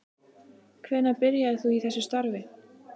Hvenær byrjaðir þú í þessu starfi?